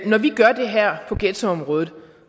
vi gør det her på ghettoområdet